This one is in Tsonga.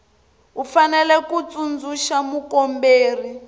u fanele ku tsundzuxa mukomberi